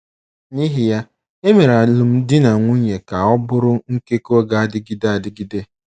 N’ihi ya, e mere alụmdi na nwunye ka ọ bụrụ nkekọ ga - adịgide adịgide.